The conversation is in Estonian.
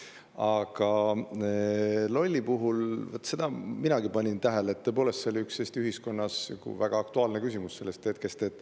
Aga minagi panin tähele, et see oli Eesti ühiskonnas väga aktuaalne küsimus sel hetkel.